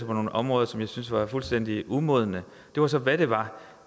på nogle områder som jeg synes er fuldstændig umodne det var så hvad det var